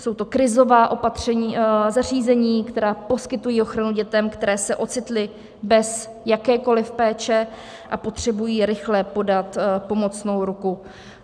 Jsou to krizová zařízení, která poskytují ochranu dětem, které se ocitly bez jakékoliv péče a potřebují rychle podat pomocnou ruku.